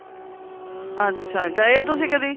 ਅੱਛਾ ਗਏ ਓ ਤੁਸੀਂ ਕਦੀ